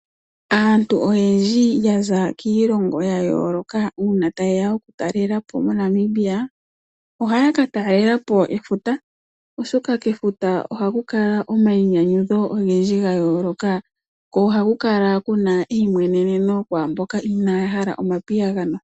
Aantu oyendji yaza kiilongo ya yooloka uuna tayeya okutalelapo mo Namibia, ohaya ka talelapo efuta oshoka kefuta ohaku kala omayinyanyudho ogendji ga yooloka, ko ohaku kala kuna eyimweneneno kwaamboka inaya hala omapiyagano.